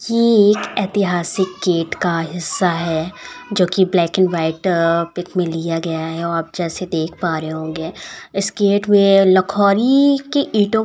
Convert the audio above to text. ये एक ऐतिहासिक गेट का हिस्सा है जोकि black and white uh pic में लिया गया है। आप जैसा देख पा रहे होंगे इस गेट में लखोली के ईंटों --